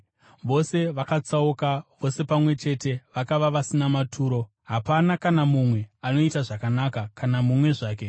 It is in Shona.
Vose vakatsauka, vose pamwe chete vakava vasina maturo; hakuna kana mumwe anoita zvakanaka, kana mumwe zvake.”